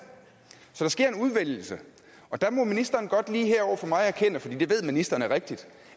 så der sker en udvælgelse og der må ministeren godt lige her over for mig erkende for det ved ministeren er rigtigt